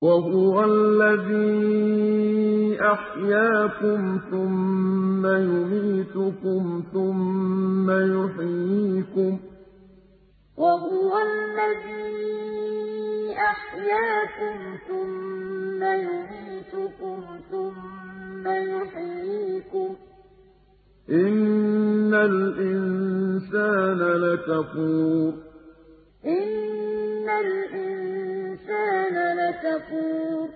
وَهُوَ الَّذِي أَحْيَاكُمْ ثُمَّ يُمِيتُكُمْ ثُمَّ يُحْيِيكُمْ ۗ إِنَّ الْإِنسَانَ لَكَفُورٌ وَهُوَ الَّذِي أَحْيَاكُمْ ثُمَّ يُمِيتُكُمْ ثُمَّ يُحْيِيكُمْ ۗ إِنَّ الْإِنسَانَ لَكَفُورٌ